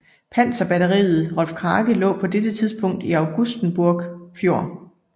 Panserbatteriet Rolf Krake lå på dette tidspunkt i Augustenborg Fjord